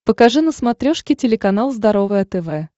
покажи на смотрешке телеканал здоровое тв